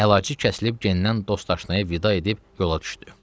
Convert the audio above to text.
Əlacı kəsilib gendən dost-aşnaya vida edib yola düşdü.